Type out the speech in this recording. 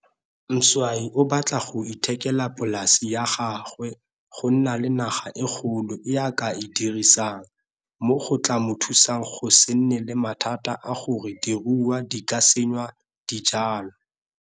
Mzwayi o sa batla go ithekela polase ya gagwe go nna le naga e kgolo e a ka e dirisang, mo go tlaa mo thusang go se nne le mathata a gore diruiwa di ka senya dijwalwa.